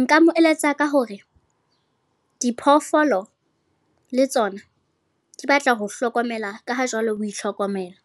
Nka mo eletsa ka hore, diphoofolo le tsona di batla ho hlokomela ka ho jwalo o itlhokomela.